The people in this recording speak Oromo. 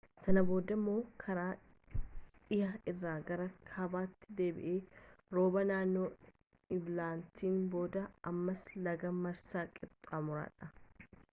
sana booda immoo karaa dhihaa irraan gara kaabaatti deebi'e rooba naanoo eblaatiin booda ammas laga maaraa qaxxaamuruudhaan